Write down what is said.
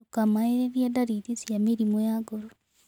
Ndũkamaererĩe darĩrĩ cia mĩrĩmũ ya ngoro